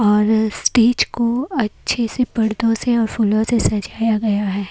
और स्टेज को अच्छे से पर्दों से और फूलों से सजाया गया है।